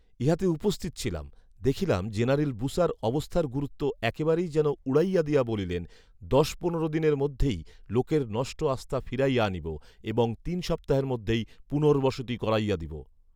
ইহাতে উপস্থিত ছিলাম, দেখিলাম জেনারেল বুসার অবস্থার গুরুত্ব একেবারেই যেন উড়াইয়া দিয়া বলিলেন, দশ পনেরো দিনের মধ্যেই লোকের নষ্ট আস্থা ফিরাইয়া আনিব এবং তিন সপ্তাহের মধ্যেই পুনৰ্ব্বসতি করাইয়া দিব